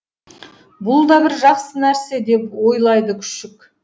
бұл да бір жақсы нәрсе деп ойлады күшік